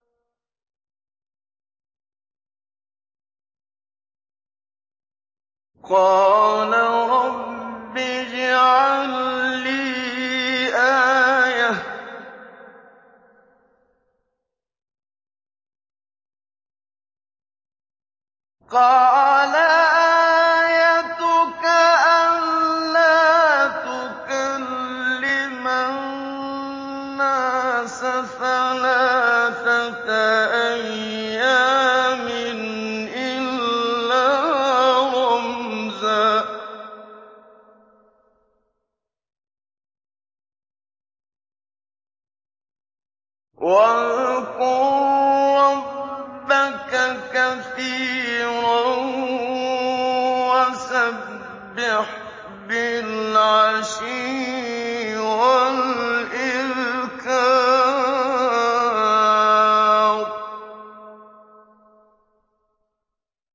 قَالَ رَبِّ اجْعَل لِّي آيَةً ۖ قَالَ آيَتُكَ أَلَّا تُكَلِّمَ النَّاسَ ثَلَاثَةَ أَيَّامٍ إِلَّا رَمْزًا ۗ وَاذْكُر رَّبَّكَ كَثِيرًا وَسَبِّحْ بِالْعَشِيِّ وَالْإِبْكَارِ